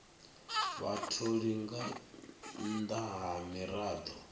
vhatholi nga nnḓa ha miraḓo